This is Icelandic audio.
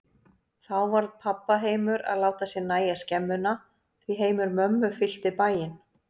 Þá varð pabba heimur að láta sér nægja skemmuna, því heimur mömmu fyllti bæinn.